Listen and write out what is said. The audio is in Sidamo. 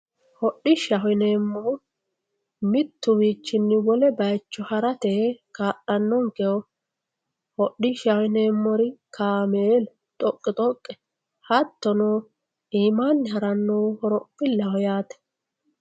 hodhishshaho yineemmohu mittuwiinni wole bayicho harate kaa'lannonkeho hodhishshaho yineemmori kaameelu xoqqi xoqqe hattono iimaanni harannohu horophillaho yaate.